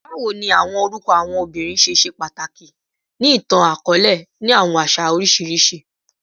Bawo ni awọn orukọ awọn obinrin ṣe ṣe pataki ni itan-akọọlẹ ni awọn aṣa oriṣiriṣi?